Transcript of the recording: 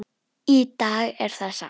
Í dag er það safn.